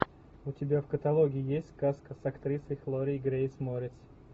у тебя в каталоге есть сказка с актрисой хлоей грейс морец